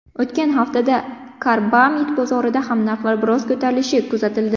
O‘tgan haftada karbamid bozorida ham narxlar biroz ko‘tarilishi kuzatildi.